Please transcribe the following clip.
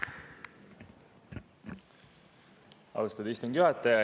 Austatud istungi juhataja!